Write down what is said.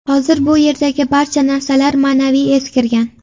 Hozir bu yerdagi barcha narsalar ma’naviy eskirgan.